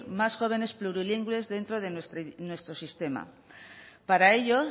más jóvenes plurilingües dentro de nuestro sistema para ello